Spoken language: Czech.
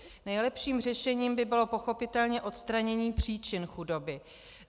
Nejlepším řešením by bylo pochopitelně odstranění příčin chudoby.